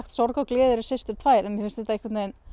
sorg og gleði eru systur tvær en mér finnst þetta einhvern veginn